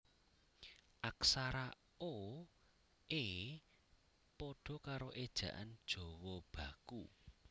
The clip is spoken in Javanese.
Aksara o e pada karo Ejaan Jawa Baku